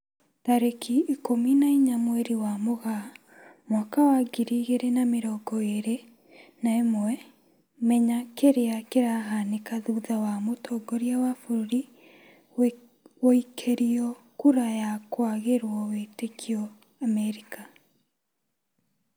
Tarĩki ikũmi na inya mweri wa Mũgaa mwaka wa ngiri igĩri na mĩrongo ĩri na ĩmwe, Menya kĩrĩa kĩrahanĩka thutha wa mũtongoria wa bũrũri guikĩrio kura ya kwagĩrwo wĩtĩkio Amerika